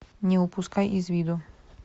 не упускай из виду